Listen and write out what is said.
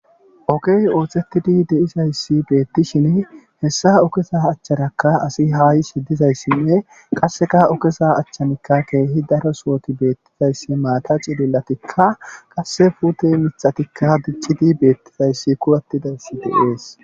Oge oosetidi de'izayssi beetishin hessa ogeza achara asi ha yishe de.izaysnne qassekka ogeza achan keehi darosooqeti beetizayti maata cililati qasse puute haythatikka diccidi beetidayssai kuwatidayssi de'ees.